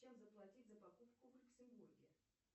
чем заплатить за покупку в люксембурге